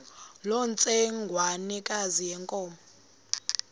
loo ntsengwanekazi yenkomo